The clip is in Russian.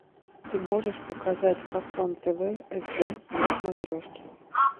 ты можешь показать фасон тв сд на смотрешке